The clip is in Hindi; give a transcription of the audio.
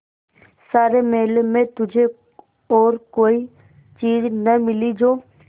सारे मेले में तुझे और कोई चीज़ न मिली जो